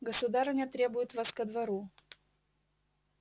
государыня требует вас ко двору